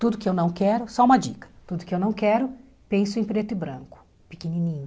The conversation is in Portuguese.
Tudo que eu não quero, só uma dica, tudo que eu não quero, penso em preto e branco, pequenininho.